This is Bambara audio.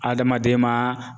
Adamaden ma